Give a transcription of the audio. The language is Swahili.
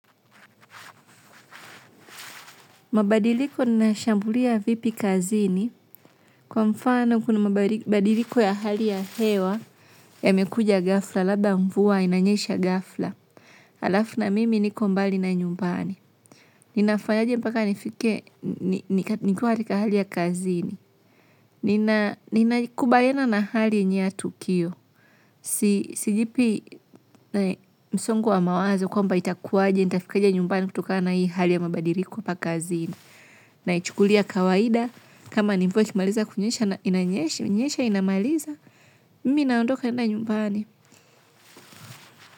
Mabadiliko ninayashambulia vipi kazini kwa mfano kuna mabadiliko ya hali ya hewa yamekuja ghafla labda mvua inanyesha ghafla. Alafu na mimi niko mbali na nyumbani. Ninafanyaje mpaka nifike nikuwa katika hali ya kazini. Ninaikubaliana na hali yenyewe ya tukio. Sijipi msongo wa mawazo kwa mba itakuwaje nitafikaje nyumbani kutoka na hii hali ya mabadiliko hapa kazini. Na ichukulia kawaida kama ni mvua ikimaliza kunyesha na inanyesha inyeshe inamaliza mimi naondoka naenda nyumbani.